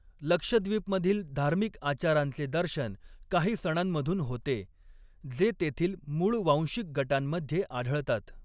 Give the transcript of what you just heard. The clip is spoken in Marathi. लक्षद्वीपमधील धार्मिक आचारांचे दर्शन काही सणांमधून होते, जे तेथील मूळ वांशिक गटांमध्ये आढळतात.